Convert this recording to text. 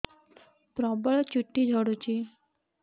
ପ୍ରବଳ ଚୁଟି ଝଡୁଛି